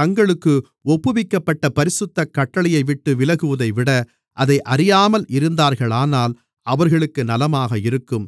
தங்களுக்கு ஒப்புவிக்கப்பட்ட பரிசுத்த கட்டளையைவிட்டுவிலகுவதைவிட அதை அறியாமல் இருந்தார்களானால் அவர்களுக்கு நலமாக இருக்கும்